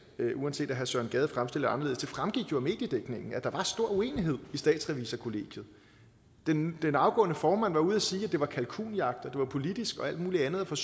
søren gade fremstiller det anderledes det fremgik jo af mediedækningen at der var stor uenighed i statsrevisorkollegiet den den afgående formand var ude og sige at det var kalkunjagt og at det var politisk og alt muligt andet og